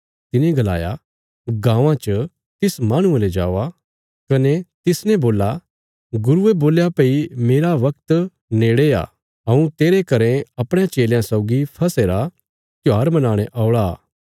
तिने गलाया गाँवां च तिस माहणुये ले जवा कने तिसने बोल्ला गुरुये बोल्या भई मेरा बगत नेड़े आ हऊँ तेरे घरें अपणयां चेलयां सौगी फसह रा त्योहार मनाणे औल़ा